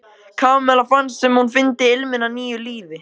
Kamilla fannst sem hún fyndi ilminn af nýju lífi.